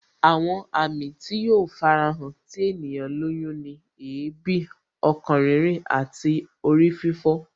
Àwọn àmì tí yóò fara hàn tí ènìyàn lóyún ni èébì, ọkàn rírìn àti orí fífọ